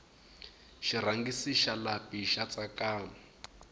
xirhangisi xa lapi xa tsakama